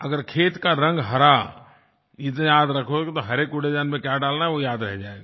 अगर खेत का रंग हरा इतना याद रखोगे तो हरे कूड़ेदान में क्या डालना है वो याद रह जाएगा